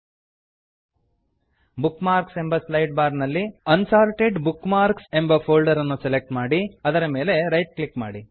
ಲ್ಟ್ಪಾಸೆಗ್ಟ್ bookmarks ಎಂಬ slide bar ನಲ್ಲಿ unsorted bookmarks ಎಂಬ ಫೋಲ್ಡರನ್ನು ಸೆಲೆಕ್ಟ್ ಮಾಡಿ ಅದರ ಮೇಲೆ ರೈಟ್ ಕ್ಲಿಕ್ ಮಾಡಿ